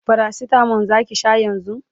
paracetamol Zaki Sha yanzun?